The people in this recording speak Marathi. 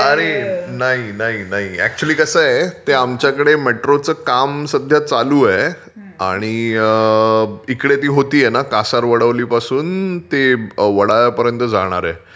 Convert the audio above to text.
अरे नाही नाही नाही.अकचुयली कसं आहे ते आमच्याकडे मेट्रोचं काम सध्या चालू आहे आणि इकडे ती होते आहे न कासार वडवली पासून ते वडाळ्यापर्यंत जाणार आहे.